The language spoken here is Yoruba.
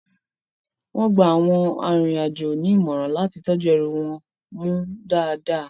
Wón gba àwọn arinrin-àjọ ní ìmọ̀ràn láti tọ́jú ẹrù wọn mú dáadáa